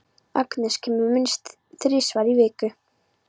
Agnes kemur minnst þrisvar í viku.